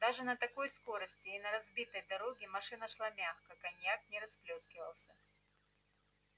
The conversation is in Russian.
даже на такой скорости и на разбитой дороге машина шла мягко коньяк не расплёскивался